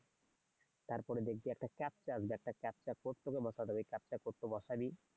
তারপরে দেখবি আসবে একটা পরে কোড টি আসবে পরে কোড টি বসাবি